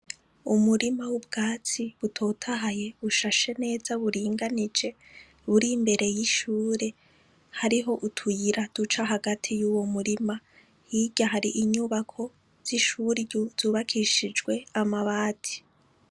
Umurima w'ubwatsi utotahaye, ushashe neza uringanije, uri imbere y'ishure, hariho utuyira duca hagati y'uwo murima. Hirya hari inyubako z'ishuri zubakishijwe amabati.